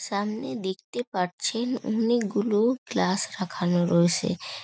সামনে দেখতে পারছেন অনেকগুলো গ্লাস রাখানো রোয়েসে ।